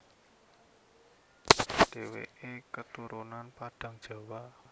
Dheweke keturunan Padang Jawa